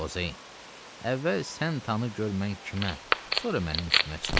Xozeyin, əvvəl sən tanı gör mən kiməm, sonra mənim üstümə çığır.